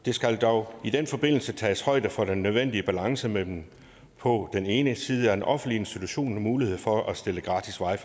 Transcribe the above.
der skal dog i den forbindelse tages højde for den nødvendige balance mellem på den ene side at en offentlig institution har mulighed for at stille gratis wi